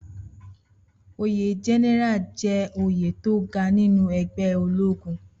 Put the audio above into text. Oyè gẹ́nẹ́rà jẹ́ oyè tó ga nínú ẹgbẹ́ ológun